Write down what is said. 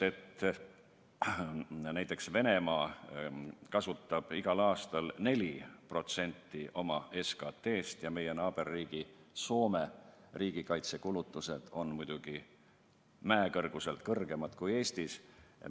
Näiteks Venemaa kasutab selleks igal aastal 4% oma SKT-st ja meie naaberriigi Soome riigikaitsekulutused on muidugi mäekõrguselt suuremad kui Eestis.